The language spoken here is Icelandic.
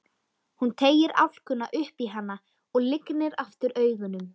Hann teygir álkuna upp í hana og lygnir aftur augunum.